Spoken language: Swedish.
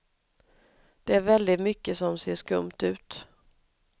Det är väldigt mycket som ser skumt ut.